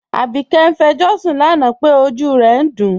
Abike n fẹ̀jọṣun lánà pé ọjú rẹ̀ n dún